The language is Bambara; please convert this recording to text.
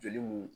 Joli mun